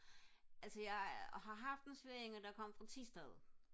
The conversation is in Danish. altså jeg har haft en svigerinde der kom fra Thisted